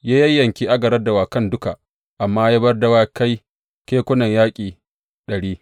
Ya yayyanke agaran dawakan duka amma ya bar dawakai kekunan yaƙi ɗari.